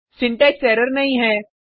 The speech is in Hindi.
सिंटेक्स एरर नहीं है